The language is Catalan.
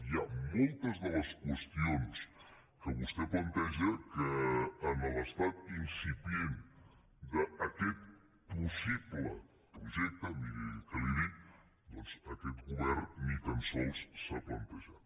hi ha moltes de les qüestions que vostè planteja que en l’estat incipient d’aquest possible projecte miri què li dic doncs aquest govern ni tan sols s’ha plantejat